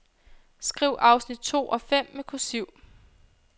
Skriv afsnit to og fem med kursiv.